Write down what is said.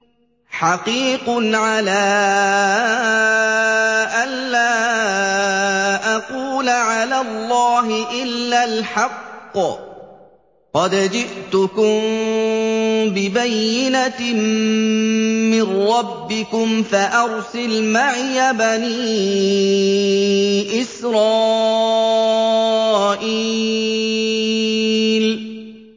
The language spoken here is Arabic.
حَقِيقٌ عَلَىٰ أَن لَّا أَقُولَ عَلَى اللَّهِ إِلَّا الْحَقَّ ۚ قَدْ جِئْتُكُم بِبَيِّنَةٍ مِّن رَّبِّكُمْ فَأَرْسِلْ مَعِيَ بَنِي إِسْرَائِيلَ